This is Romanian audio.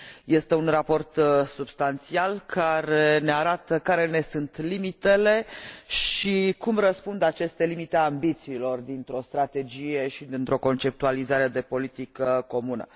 Este un raport substanțial, care ne arată care ne sunt limitele și cum răspund aceste limite ambițiilor dintr o strategie și dintr o conceptualizare de politică comună.